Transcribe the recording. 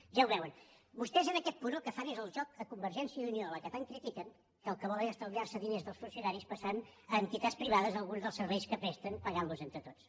ja ho veuen vostès en aquest punt el que fan és el joc a convergència i unió a la qual tant critiquen que el que vol és estalviar se diners dels funcionaris passant a entitats privades alguns dels serveis que presten pagant los entre tots